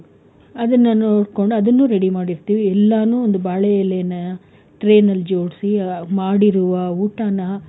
ಅದನ್ನ ನೋಡ್ಕೊಂಡು ಅದನ್ನು ready ಮಾಡಿರ್ತೀವಿ ಎಲ್ಲಾನು ಒಂದು ಬಾಳೆ ಎಲೆನಾ tray ನಲ್ಲಿ ಜೋಡ್ಸಿ ಮಾಡಿರುವ ಊಟಾನ,